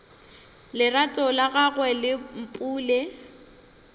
lerato la gagwe le mpule